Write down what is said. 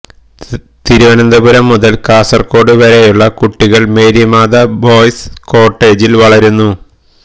തിരുവനന്തപുരം മുതല് കാസര്ഗോഡ് വരെയുള്ള കുട്ടികള് മേരിമാത ബോയ്സ് കോട്ടേജില് വളരുന്നു